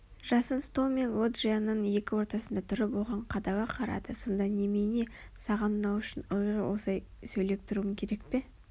жасын стол мен лоджияның екі ортасында тұрып оған қадала қарады сонда немене саған ұнау үшін ылғи осылай сөйлеп тұруым керек пе